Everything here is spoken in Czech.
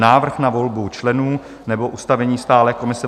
Návrh na volbu členů nebo ustavení stálé komise